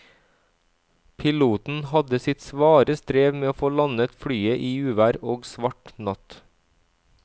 Piloten hadde sitt svare strev med å få landet flyet i uvær og svart natt.